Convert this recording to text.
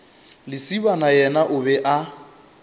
lesibana yena o be a